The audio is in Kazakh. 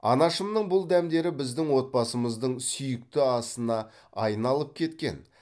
анашымның бұл дәмдері біздің отбасымыздың сүиікті асына аиналып кеткен